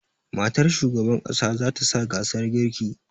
Matar shugaban ƙasa zata sa gasar girki